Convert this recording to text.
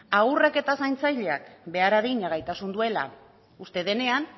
haurrek eta zaintzaileek behar adina gaitasun duela uste denean